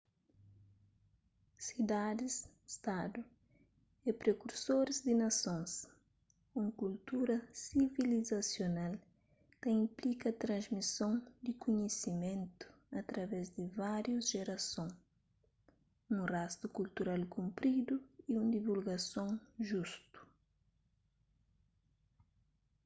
sidadis-stadu é prekursoris di nasons un kultura sivilizasional ta inplika transmison di kunhisimentu através di várius jerason un rastu kultural kunpridui y un divulgason justu